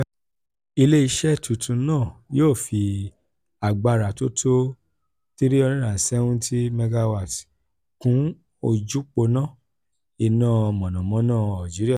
ile-iṣẹ tuntun naa yoo fi agbara to to 370 mw kun ojuponna ina mọnamọna algeria.